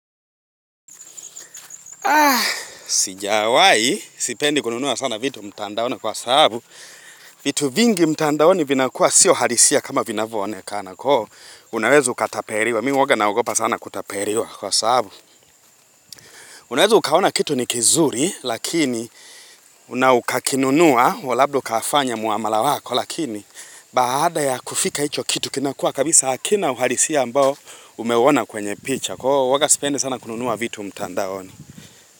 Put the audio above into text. Sijawai sipendi kununua sana vitu mtandaoni kwa sababu vitu vingi mtandaoni vinakuwa siyo halisia kama vinavyoonekana Unawezu ukatapeliwa, mimi huwa naogopa sana kutapeliwa kwa sababu Unawezu ukaona kitu ni kizuri lakini na ukakinunua labda ukafanya muamala wako lakini Baada ya kufika hicho kitu kinakua kabisa hakina uhalisia ambao umeuona kwenye picha sipendi sana kununua vitu mtandaoni.